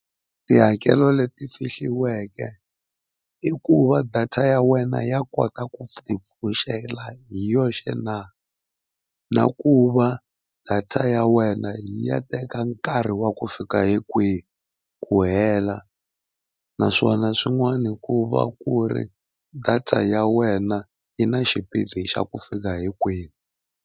Tihakelo leti fihliweke i ku va data ya wena ya kota ku tipfuxela hi yoxe na, na ku va data ya wena yi ya teka nkarhi wa ku fika hi kwihi ku hela. Naswona swin'wana ku va ku ri data ya wena yi na xipidi xa ku fika hi kwihi.